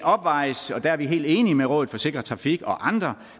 opvejes og der er vi helt enige med rådet for sikker trafik og andre